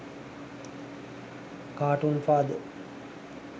cartoon father